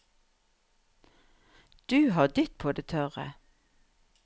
Du har ditt på det tørre.